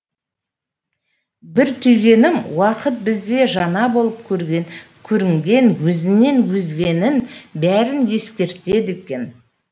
бір түйгенім уақыт бізге жаңа болып көрінген өзінен өзгенің бәрін ескертеді екен